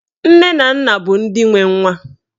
Nne na nna bụ ndị nwe nwa.